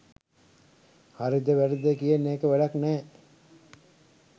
හරිද වැරදිද කියන එක වැඩක් නෑ.